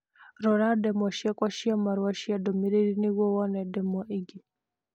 Rora ndemwa ciakwa cia marũa cia ndũmĩrĩri nĩguo wone ndemwa ingĩ.